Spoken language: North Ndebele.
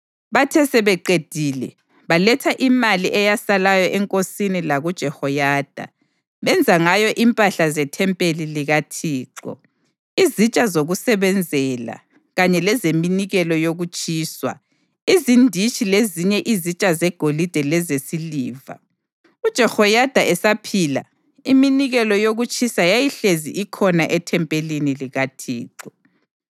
Bathe sebeqedile, baletha imali eyasalayo enkosini lakuJehoyada, benza ngayo impahla zethempeli likaThixo: izitsha zokusebenzela kanye lezeminikelo yokutshiswa, izinditshi lezinye izitsha zegolide lezesiliva. UJehoyada esaphila, iminikelo yokutshiswa yayihlezi ikhona ethempelini likaThixo.